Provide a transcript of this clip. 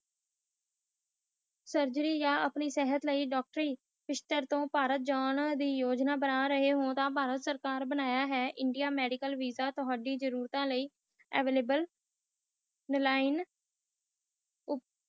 surgery ਆਪਣੀ ਸਾਥ ਲਾਇ ਪਾਰਟੀ ਜਾਨ ਯੋਜਨਾ ਬਣਾ ਰਹੇ ਹੋ ਤਾ ਪਾਰਟੀ ਸਰਕਾਰ ਬਣਾ ਹੈ ਇੰਡੀਆ ਮੈਡੀਕਲ ਵੀਸਾ ਥੁੜੀ ਜਰੂਰਤ ਲਾਇ ਅਵਿਲਾਬਲੇ ਰਹੇ ਗਿਆ